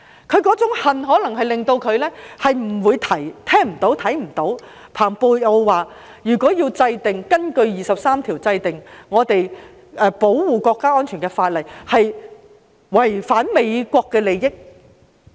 他那種恨可能令他聽不到、看不到蓬佩奧所說的有何問題，即如果根據《基本法》第二十三條制定保護國家安全的法例，將會違反美國的利益。